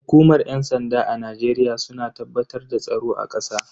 Hukumar yan sanda a Najeriya suna tabbatar da tsaro a kasa.